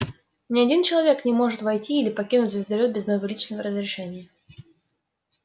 ни один человек не может войти или покинуть звездолёт без моего личного разрешения